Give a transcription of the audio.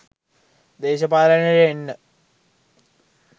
දේශපාලනයට එන්න